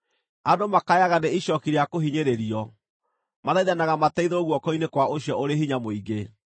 “Andũ makayaga nĩ icooki rĩa kũhinyĩrĩrio; mathaithanaga mateithũrwo guoko-inĩ kwa ũcio ũrĩ hinya mũingĩ.